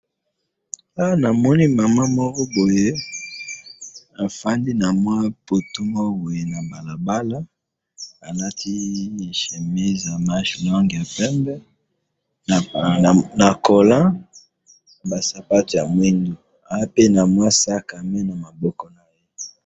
Awa na moni maman moko boye afandi na mwa poto moko boye na balabala, alati chemise ya manche longue ya pembe na colant aza peut na sac à main.